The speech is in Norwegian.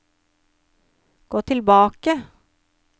gå tilbake